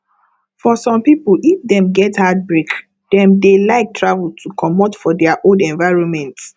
for some people if dem get heartbreak dem dey like travel to comot for their old environment